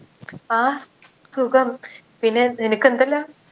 ആ സുഖം പിന്നെ നിനക്കെന്തല്ലാ